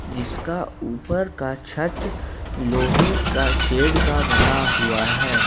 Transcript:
जिसका ऊपर का छत लोहे का शेड का बना हुआ है।